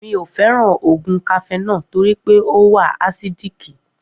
Miò fẹ́ràn oògùn cafenol torípé ọ wa àsídíìkì